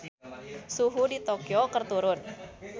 Suhu di Tokyo keur turun